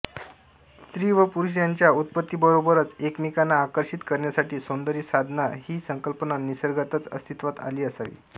स्त्री व पुरुष यांच्या उत्पत्तीबरोबरच एकमेकांना आकर्षित करण्यासाठी सौंदर्यसाधना ही संकल्पना निसर्गतःच अस्तित्वात आली असावी